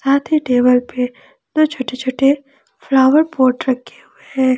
आधे टेबल पे दो छोटे छोटे फ्लावर पॉट रखे हुए हैं।